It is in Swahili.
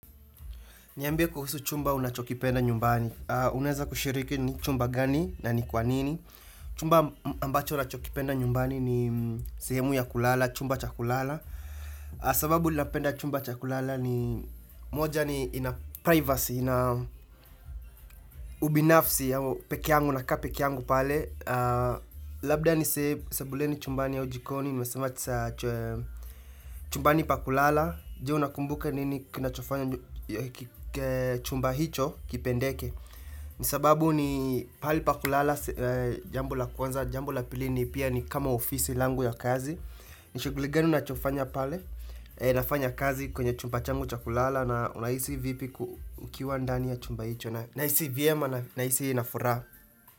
Niambie kuhusu chumba unachokipenda nyumbani. Uneza kushiriki ni chumba gani na ni kwanini. Chumba ambacho ninachokipenda nyumbani ni sehemu ya kulala, chumba chakulala. Sababu napenda chumba cha kulala ni moja ni ina privacy, ina ubinafsi ya peke yangu nakaa peke yangu pale. Labda ni se sebuleni chumbani ya ujikoni. Nimesema tisa chumbani pa kulala je unakumbuka nini kinachofanya chumba hicho kipendeke sababu ni pahali pa kulala jambo la kwanza jambo la pili ni pia ni kama ofisi langu ya kazi nishughuli gani unachofanya pale nafanya kazi kwenye chumba changu cha kulala na unahisi vipi ku ukiwa ndani ya chumba hicho na unahisi vyema na nahisi nafuraha.